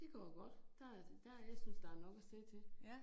Det går godt, der er der, jeg synes, der nok at se til